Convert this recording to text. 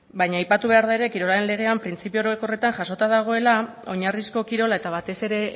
baina aipatu behar da ere kirolaren legean printzipio orokorretan jasota dagoela oinarrizko kirola eta batez ere